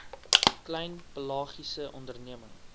klein pelagiese onderneming